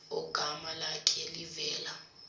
ogama lakhe livela